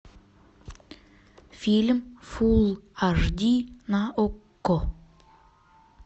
фильм фул аш ди на окко